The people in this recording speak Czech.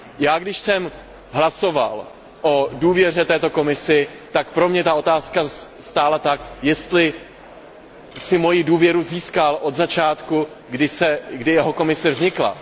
Já když jsem hlasoval o důvěře této Komisi, tak pro mě ta otázka stála tak, jestli si moji důvěru získal od začátku, kdy jeho Komise vznikla?